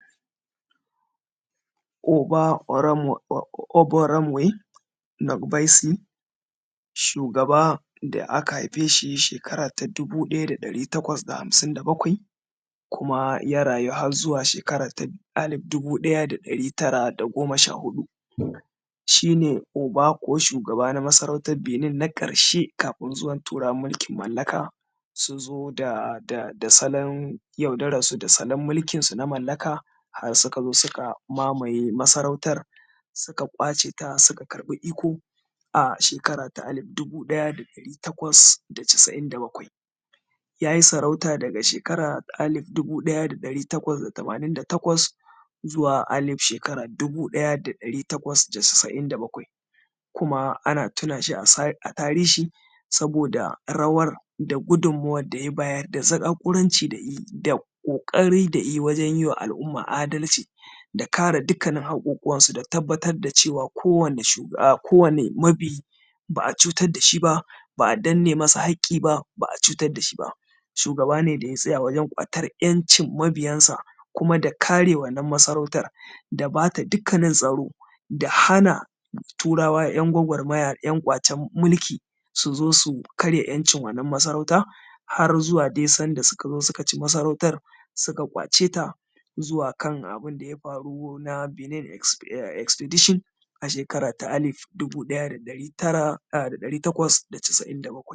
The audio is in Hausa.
Oba Ovonramwen N’ogbaise, shugaba da aka haifi shi shekara ta dubu ɗaya da ɗari takwas da hamsin da bakwai kuma ya rayu har zuwa shekara alif dubu ɗaya ɗari tara da goma sha-huɗu. sShi ne oba ko shugaba na ƙasar Benin na ƙarshe kafin zuwan Turawan mulki mallaka, su zo da salon yaudaransu da salon mulkinsu na mallaka, har suka zo suka mamaye masarautar, suka ƙwace ta suka karɓi iko a shekara ta alif dubu ɗaya da ɗari takwas da casa’in da bakwai. Ya yi sarauta daga shekara ta alif dubu ɗaya da ɗari takwas da tamanin da takwas, zuwa alif shekara dubu ɗaya da ɗari takwas da casa’in da bakwai, kuma ana tuna shi a tarihi saboda rawar da gudummawar da ya bayar da zaƙaƙuranci da yayi da ƙoƙarin da ya yi wajen yiwa al’umma adalci da kare dukannin haƙoƙuwansu da tabbatar da cewa ko wane mabi ba a cutar da shi ba, ba a danne masa haƙƙi ba, ba a cutad da shi ba. Shugaba ne da ya tsaya wajen ƙwatan ‘yancin mabiyansa kuma da kare wannan masarautar, da ba ta dukkanin tsaro, da hana Turawa ‘yan gwagwarmaya, ‘yan ƙwacen mulki su zo su karya ‘yancin wannan masarauta, har zuwa dai sanda suka zo suka ci masarautar, suka ƙwace ta zuwa kana bin da ya faru na Benin expedition a shekara ta alif dubu ɗaya da ɗari tara a’a da ɗari takwas da casa’in bakwai.